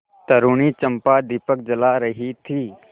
तरूणी चंपा दीपक जला रही थी